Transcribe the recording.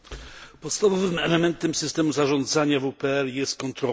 Podstawowym elementem systemu zarządzania WPR jest kontrola.